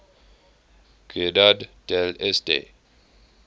ciudad del este